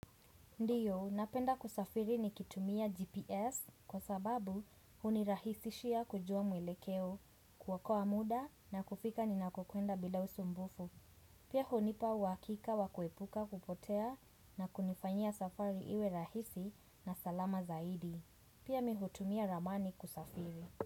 Ndio, napenda kusafiri ni kitumia GPS kwa sababu hunirahisishia kujua mwelekeo kuokoa muda na kufika ni nakokuenda bila usumbufu. Pia hunipa uhakika wa kuepuka kupotea na kunifanyia safari iwe rahisi na salama zaidi. Pia mihutumia ramani kusafiri.